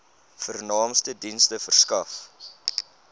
vernaamste dienste verskaf